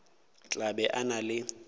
tla be a na le